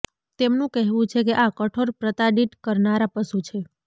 તેમનુ કહેવુ છે કે આ કઠોર પ્રતાડિત કરનારા પશુ છે